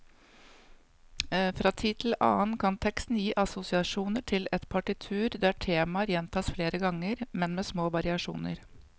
Fra tid til annen kan teksten gi assosiasjoner til et partitur der temaer gjentas flere ganger, men med små variasjoner.